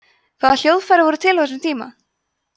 hvaða hljóðfæri voru til á þessum tíma